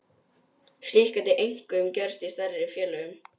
Slíkt gæti einkum gerst í stærri félögum.